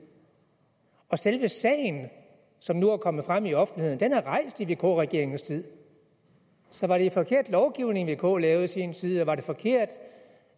og selve sagen som nu er kommet frem i offentligheden er rejst i vk regeringens tid så var det forkert lovgivning vk lavede i sin tid var det forkert